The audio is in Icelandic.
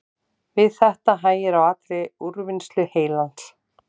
Við þetta hægir á allri úrvinnslu heilans.